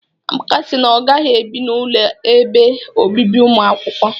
Amaka si na ọ gaghị ebi n'ụlọ ebe obibi ụmụakwụkwọ.